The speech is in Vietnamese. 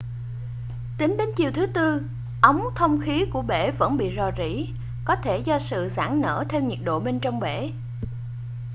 tính đến chiều thứ tư ống thông khí của bể vẫn bị rò rỉ có thể do sự giãn nở theo nhiệt độ bên trong bể